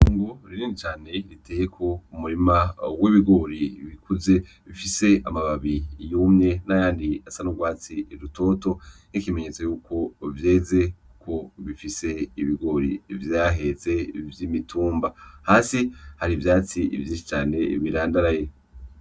Itongo rinini cane riteyeko umurima w'ibigori, bikuze bifise amababi yumye nayandi asa n'ugwatsi rutoto nkikimenyetso yuko vyeze ko bifise ibigori vyahetse vy'imitumba hasi hari ivyatsi vyinshi cane birandaraye.